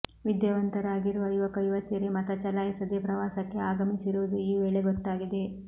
ವಿದ್ಯಾವಂತರಾಗಿರುವ ಯುವಕ ಯುವತಿಯರೇ ಮತ ಚಲಾಯಿಸದೇ ಪ್ರವಾಸಕ್ಕೆ ಆಗಮಿಸಿರುವುದು ಈ ವೇಳೆ ಗೊತ್ತಾಗಿದೆ